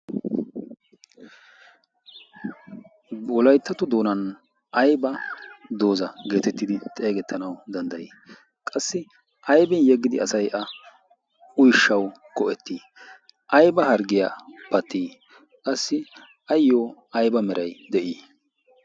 wolayttato doonan ayba dooza geetettidi xeegettanau danddayii? qassi aybin yeggidi asay a uishshau ko'ettii ayba harggiyaa pattii qassi ayyo ayba meray de'ii?